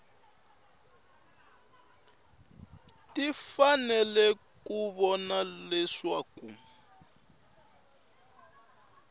ti fanele ku vona leswaku